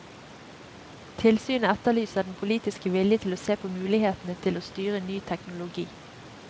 Tilsynet etterlyser den politiske vilje til å se på mulighetene til å styre ny teknologi.